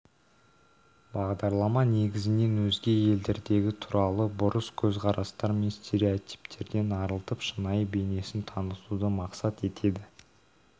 бағдарлама негізінен өзге елдердегі туралы бұрыс көзқарастар мен стереотиптерден арылтып шынайы бейнесін танытуды мақсат етеді